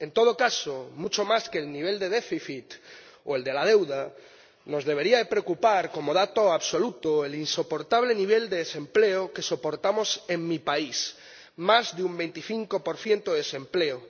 En todo caso, mucho más que el nivel de déficit o el de la deuda, nos debería preocupar como dato absoluto el insoportable nivel de desempleo que soportamos en mi país más de un 25 de desempleo.